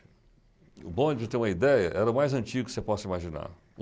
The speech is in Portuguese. O bonde, para você ter uma ideia, era o mais antigo que você possa imaginar.